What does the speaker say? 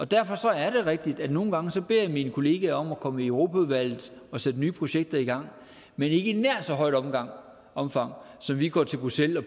derfor er det rigtigt at nogle gange beder jeg mine kollegaer om at komme i europaudvalget og sætte nye projekter i gang men ikke i nær så højt omfang omfang som vi går til bruxelles og